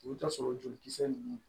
I bɛ t'a sɔrɔ jolikisɛ ninnu